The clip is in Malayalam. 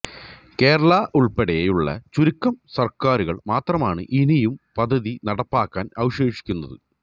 കേരളമുള്പ്പെടെയുള്ള ചുരുക്കം സര്ക്കാരുകള് മാത്രമാണ് ഇനിയും പദ്ധതി നടപ്പാക്കാന് അവശേഷിക്കുന്നത്